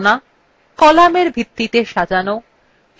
কলামএর ভিত্তিতে সাজানো